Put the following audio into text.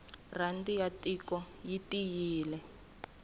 rhandi ya tiko yi tiyile